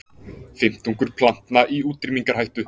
Fimmtungur plantna í útrýmingarhættu